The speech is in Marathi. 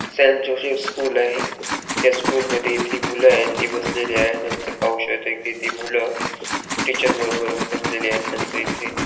सेंट जोसेफ स्कूल आहे त्या स्कूल मध्ये इथे मुले ती बसलेली आहे नंतर पाहू शकतो कि ती मुलं टीचर बरोबर बसलेले आहे नंतर इथे --